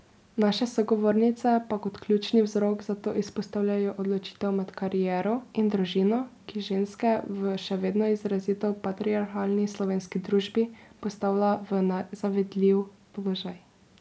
Naše sogovornice pa kot ključni vzrok za to izpostavljajo odločitev med kariero in družino, ki ženske v še vedno izrazito patriarhalni slovenski družbi postavlja v nezavidljiv položaj.